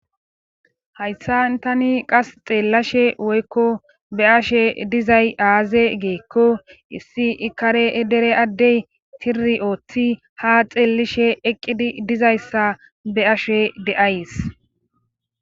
Tayssa tani qas xeellashe woykko be ashe dizay aaze geekko issi ikare e dere addey tiri ooththi ha xeellishe eqqidi dizayssa be ashe de7ays.